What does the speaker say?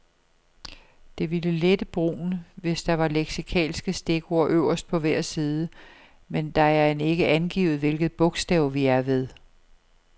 Det ville lette brugen, hvis der var leksikalske stikord øverst på hver side, men det er end ikke angivet, hvilket bogstav vi er ved.